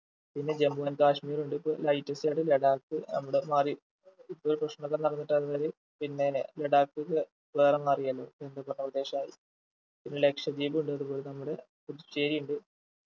പിന്നെ ജമ്മു and കാശ്മീറുണ്ട് ഇപ്പൊ latest ആയിട്ട് ലഡാക്ക് അങ്ങോട്ട് മാറി ഇപ്പൊ പ്രശ്നം ഒക്കെ നടന്നിട്ടു അത് പിന്നെ ലഡാക്ക് ഒക്കെ വേറെ മാറിയല്ലോ കേന്ദ്ര ഭരണ പ്രദേശായി പിന്നെ ലക്ഷദ്വീപ് ഉണ്ട് അത്പോലെ നമ്മുടെ പുതുച്ചേരി ഉണ്ട്